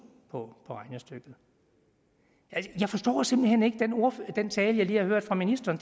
på regnestykket jeg forstår simpelt hen ikke den tale jeg lige har hørt fra ministeren